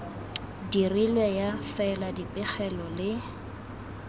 dirilwe ya fela dipegelo le